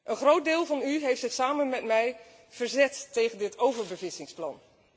Een groot deel van u heeft zich samen met mij verzet tegen dit overbevissingplan.